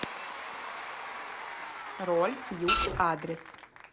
рольф юг адрес